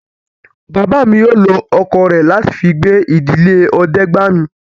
Bàbá mi yóò lọ ọkọ̀ rẹ̀ láti fi gbé ìdílé Ọdẹ́gbàmi